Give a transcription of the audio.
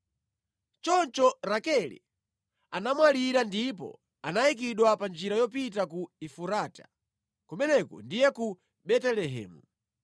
Choncho Rakele anamwalira ndipo anayikidwa pa njira yopita ku Efurata (Kumeneko ndiye ku Betelehemu).